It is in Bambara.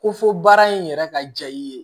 Ko fo baara in yɛrɛ ka ja i ye